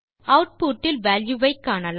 output இல் value ஐ காணலாம்